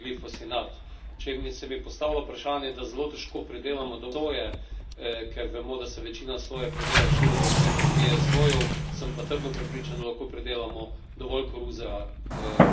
Če se mi postavlja vprašanje, da zelo težko pridelamo dovolj soje, ker vemo, da se večina soje pridela širom po svetu iz GSO jev, sem pa trdno prepričan, da lahko pridelamo dovolj koruze brez tega GSO semena.